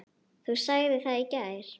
Þú sagðir það í gær.